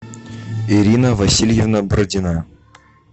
ирина васильевна бородина